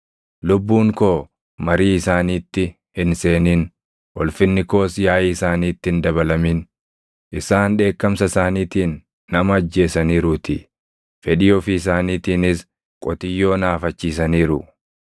Lubbuun koo marii isaaniitti hin seenin; ulfinni koos yaaʼii isaaniitti hin dabalamin; isaan dheekkamsa isaaniitiin nama ajjeesaniiruutii; fedhii ofii isaaniitiinis qotiyyoo naafachiisaniiru.